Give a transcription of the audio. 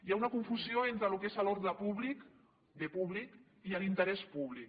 hi ha una confusió entre el que és l’ordre públic bé públic i l’interès públic